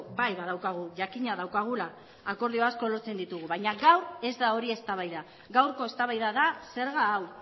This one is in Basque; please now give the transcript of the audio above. bai badaukagu jakina daukagula akordio asko lortzen ditugu baina gaur ez da hori eztabaida gaurko eztabaida da zerga hau